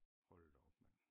Hold da op mand